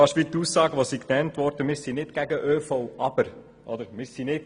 Das ist beinahe wie die Aussage, wonach man nicht gegen den ÖV sei.